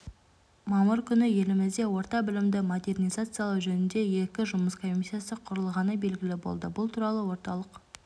мамыр күні елімізде орта білімді модернизациялау жөнінде екі жұмыс комиссиясы құрылғаны белгілі болды бұл туралы орталық